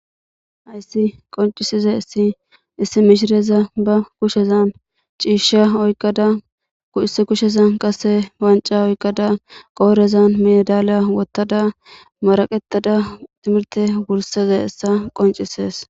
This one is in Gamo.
Hassi qoncisizayis issi misileza ba kushan oyiqada cishsha oyiqada issi kushezan qase wanca oyikada qorezan medala woththada maraqetada timirte wursa dizayissa qoncises